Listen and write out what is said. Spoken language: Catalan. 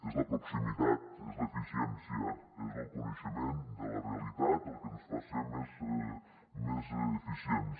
és la proximitat és l’eficiència és el coneixement de la realitat el que ens fa ser més eficients